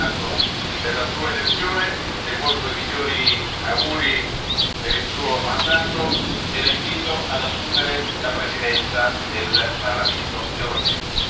Mi congratulo per la Sua elezione, le porgo i migliori auguri per il Suo mandato e la invito ad assumere la presidenza del Parlamento europeo.